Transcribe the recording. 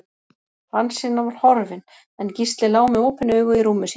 Hansína var horfin, en Gísli lá með opin augu í rúmi sínu.